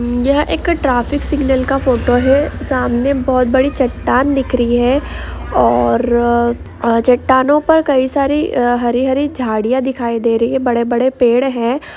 यह एक traffic signal का फोटो है। सामने बहुत बड़ी चट्टान दिख रही है। और चट्टानों पर कई सारी हरी हरी झाड़ियाँ दिखाई दे रही है। बड़े बड़े पेड़ है।